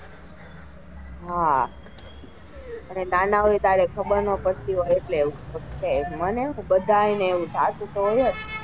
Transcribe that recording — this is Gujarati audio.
હા અને નાના હોય ત્યારે ખબર નાં પડતી હોય એટલે એવું મને શું બધાય ને આવું થતું તો હોય જ,